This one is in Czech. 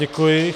Děkuji.